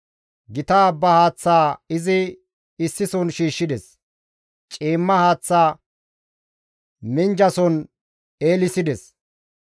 Gita abba haaththa izi issison shiishshides; ciimma haaththa minjjason eelissides.